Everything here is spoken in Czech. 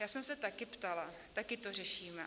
Já jsem se taky ptala, taky to řešíme.